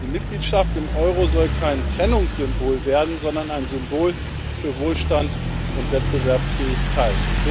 Die Mitgliedschaft im Euro soll kein Trennungssymbol werden, sondern ein Symbol für Wohlstand und Wettbewerbsfähigkeit.